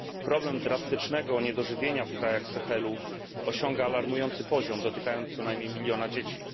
Problem drastycznego niedożywienia w krajach Sahelu osiąga alarmujący poziom, dotykając co najmniej miliona dzieci.